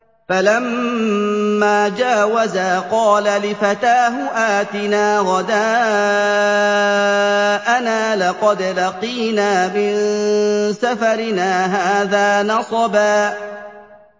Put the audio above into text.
فَلَمَّا جَاوَزَا قَالَ لِفَتَاهُ آتِنَا غَدَاءَنَا لَقَدْ لَقِينَا مِن سَفَرِنَا هَٰذَا نَصَبًا